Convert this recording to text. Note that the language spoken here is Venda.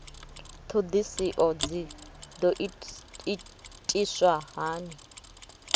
ṱhoḓisio dzi ḓo itiswa hani